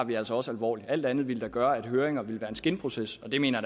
vi altså også alvorligt alt andet ville da gøre at høringer ville være skinprocesser og det mener